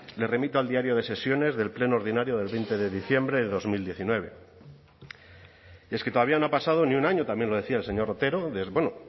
le remito al diario de sesiones del pleno ordinario del veinte de diciembre de dos mil diecinueve y es que todavía no ha pasado ni un año también lo decía el señor otero desde bueno